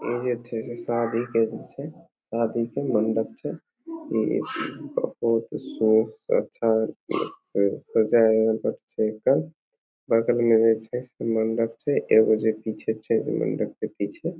एजे थे शादी कइले छे शादी के मंडप छे अच्छा से सजल मंडप छे एगो जे पीछे से मंडप के पीछे --